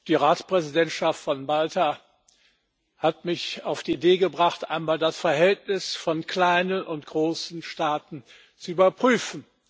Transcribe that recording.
Die Ratspräsidentschaft von Malta hat mich auf die Idee gebracht, einmal das Verhältnis von kleinen und großen Staaten zu überprüfen.